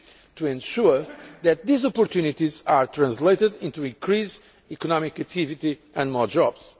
SMEs to ensure that these opportunities are translated into increased economic activity and more jobs.